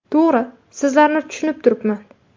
To‘g‘ri, sizlarni tushunib turibman.